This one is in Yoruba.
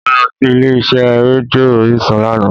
Mo lọ sí ilé iṣẹ́ rédíò orísun lánàá